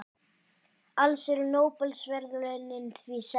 Alls eru Nóbelsverðlaunin því sex.